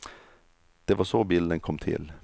Det var så bilden kom till.